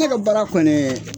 E ka baara kɔni ye